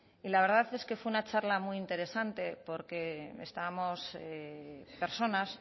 y la verdad es que fue una charla muy interesante porque estábamos personas